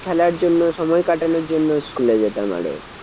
খেলার জন্য সময় কাটানোর জন্য school এ যেতাম আরও।